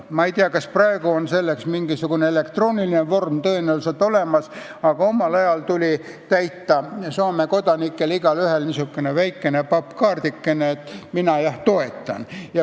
Ma ei tea, praegu on selleks mingisugune elektrooniline vorm olemas, aga omal ajal tuli Soome kodanikel täita niisugune väikene pappkaardike, et mina jah toetan.